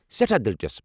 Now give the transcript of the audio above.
سٮ۪ٹھاہ دلچسپ